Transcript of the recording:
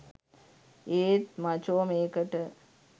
ඒත් මචෝ මේකට